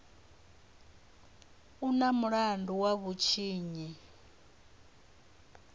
u na mulandu wa vhutshinyi